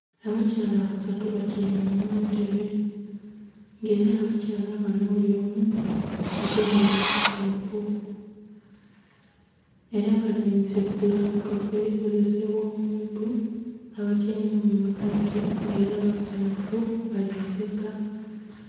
Abakyala basatu batyaime muntebe nga era abakyala banho bulyomu agemye laptop era balinze ku laptop erikozesebwa omuntu abatyaime mu ghagati nga era basanhufu.